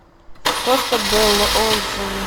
коста белла отзывы